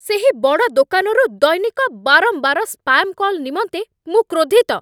ସେହି ବଡ଼ ଦୋକାନରୁ ଦୈନିକ ବାରମ୍ବାର ସ୍ପାମ୍ କଲ୍ ନିମନ୍ତେ ମୁଁ କ୍ରୋଧିତ।